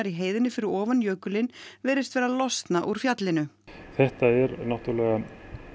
í heiðinni fyrir ofan jökulinn virðist vera að losna úr fjallinu þetta er náttúrulega